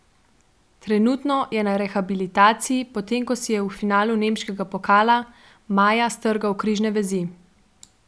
Trenutno je na rehabilitaciji, potem ko si je v finalu nemškega pokala maja strgal križne vezi.